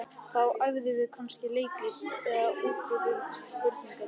Þá æfðum við kannski leikrit eða útbjuggum spurningaleik.